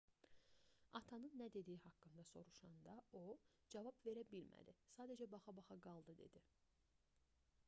atanın nə dediyi haqqında soruşanda o cavab verə bilmədi sadəcə baxa-baxa qaldı dedi